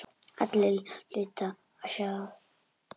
Allir hlutu að sjá það.